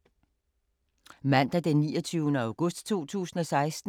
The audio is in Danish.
Mandag d. 29. august 2016